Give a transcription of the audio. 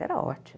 Era ótimo.